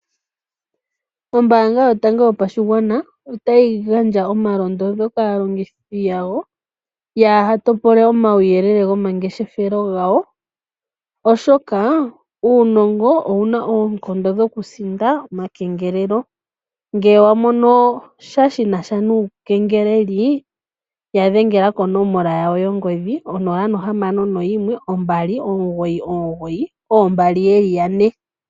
Ombaanga yotango yopashigwana otayi gandja omalondodho kaalongithi yawo , yaaha topole omauyelele gomangeshefelo gawo , oshoka uunongo owuna oonkondo dhokusinda omakengelelo . Ngele wamono sha shinasha nuukengeleli yadhengela konomola yawo yongodhi 0612992222.